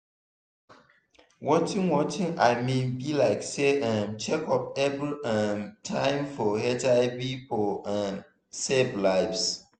watin watin i mean be saylike um check up every um time for hiv for um save lives